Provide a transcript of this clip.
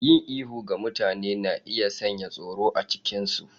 Yin ihu ga mutane na iya sanya tsoro a cikinsu.